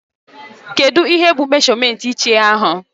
Kedụ ihe bụ meshọmentị iche ahụ?